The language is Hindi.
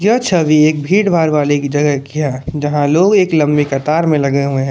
यह छवि एक भीड़ भाड़ वाली जगह की है जाहां लोग एक लंबी कतार में लगे हुए हैं।